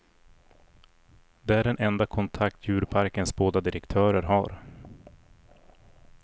Det är den enda kontakt djurparkens båda direktörer har.